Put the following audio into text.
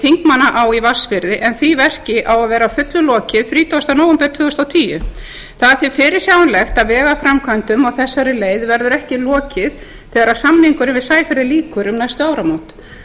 þingmannaá í vatnsfirði en því verki á að vera að fullu lokið þrítugasta nóvember tvö þúsund og tíu það er því fyrirsjáanlegt að vegaframkvæmdum á þessari leið verður ekki lokið þegar samningnum við sæferðir lýkur um næstu áramót